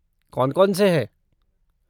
कौन कौन से हैं?